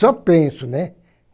Só penso, né?